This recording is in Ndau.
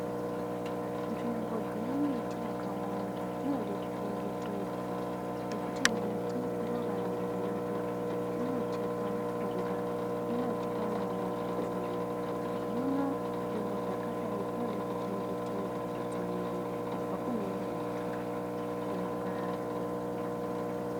Nzvimbo dzine miti yakawanda dzinode kuchengetedzwa nekuti miti ndoraramo yedu. Inotipa mishonga. Inotipa mweya wekufema. Hino nzvimbo dzakadai dzinode kuchengetedzwa kudzivirirwa kubva kune moto inopararira.